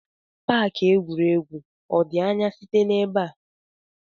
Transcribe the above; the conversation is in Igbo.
Paaki egwuregwu ọ dị anya site n'ebe a?